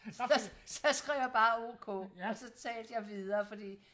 så så skrev jeg bare ok og så talte jeg videre fordi